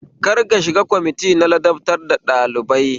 Kar ki shiga kwamiti na ladabtar da ɗalibai